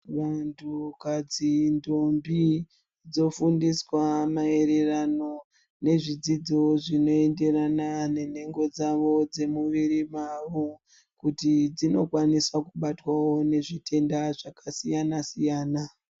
Vantukadzi ndombi dzofundiswa maererano nezvidzidzo zvinoenderana nenhengo dzavo dzemuviri wavo kuti dzinokwanisa kubatwawo nezvitenda zvakasiyana siyana.